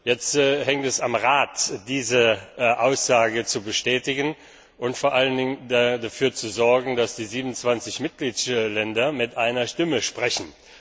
Jetzt liegt es am Rat, diese Aussage zu bestätigen und vor allen Dingen dafür zu sorgen, dass die 27 Mitgliedstaaten mit einer Stimme sprechen.